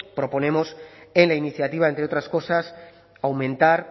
proponemos en la iniciativa entre otras cosas aumentar